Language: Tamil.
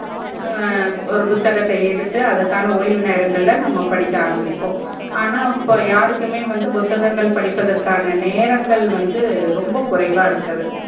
அஹ் ஒரு புத்தகத்த எடுத்து அதுக்கான ஓய்வு நேரங்கள் ல நம்ப படிக்க ஆரம்பிப்போம் ஆனா இப்போ யாருக்குமே புத்தகங்கள் படிப் பதற்கானா நேரங்கள் வந்து ரொம்ப குறைவா இருக்கறது